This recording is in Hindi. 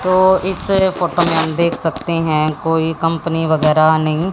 तो इस फोटो में हम देख सकते हैं कोई कंपनी वगैरा नहीं--